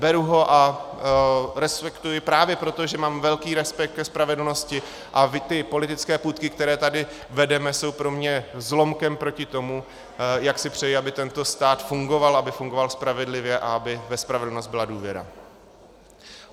Beru ho a respektuji právě proto, že mám velký respekt ke spravedlnosti, a ty politické půtky, které tady vedeme, jsou pro mě zlomkem proti tomu, jak si přeji, aby tento stát fungoval, aby fungoval spravedlivě a aby ve spravedlnost byla důvěra.